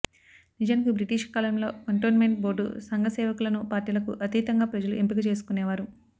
నిజానికి బ్రిటిషు కాలంలో cantonment board సంఘసేవకులను పార్టీలకు అతీతంగా ప్రజలు ఎంపిక చేసుకునేవారు